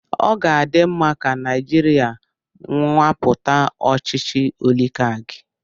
Ọ ga-adị mma ka Naijiria nwapụta ọchịchị oligaki.